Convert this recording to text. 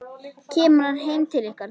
Kemur hann heim til ykkar?